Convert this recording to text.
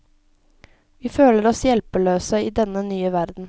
Vi føler oss hjelpeløse i denne nye verden.